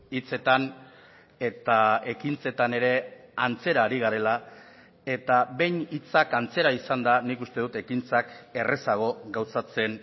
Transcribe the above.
hitzetan eta ekintzetan ere antzera ari garela eta behin hitzak antzera izanda nik uste dut ekintzak errazago gauzatzen